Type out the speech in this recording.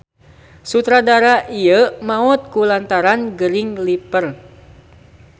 Sutradara ieu maot ku lantaran gering liver.